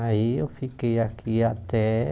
Aí eu fiquei aqui até